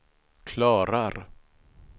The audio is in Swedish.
klarar